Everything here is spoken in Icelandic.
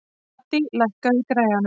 Addý, lækkaðu í græjunum.